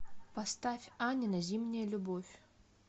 поставь анина зимняя любовь